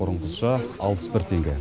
бұрынғыша алпыс бір теңге